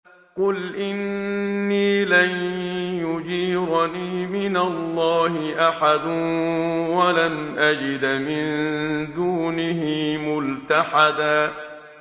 قُلْ إِنِّي لَن يُجِيرَنِي مِنَ اللَّهِ أَحَدٌ وَلَنْ أَجِدَ مِن دُونِهِ مُلْتَحَدًا